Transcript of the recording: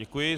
Děkuji.